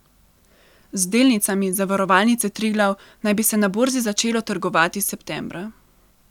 Z delnicami Zavarovalnice Triglav naj bi se na borzi začelo trgovati septembra.